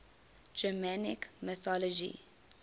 germanic mythology